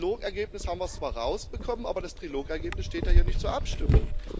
Im Trilogergebnis haben wir es zwar rausbekommen, aber das Trilogergebnis steht ja hier nicht zur Abstimmung.